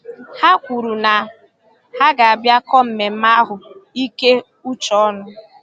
Ha kwuru na ha ga- bịa kọ mmemme ahụ ike uche ọnụ